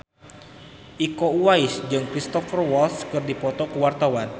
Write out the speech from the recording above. Iko Uwais jeung Cristhoper Waltz keur dipoto ku wartawan